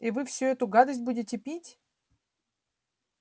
и вы всю эту гадость будете пить